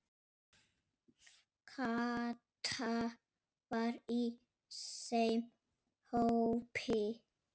Kata var í þeim hópi.